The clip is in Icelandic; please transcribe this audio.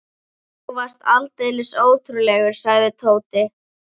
Úff, þú varst aldeilis ótrúlegur, sagði Tóti.